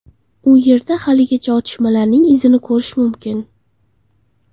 U yerda haligacha otishmalarning izini ko‘rish mumkin.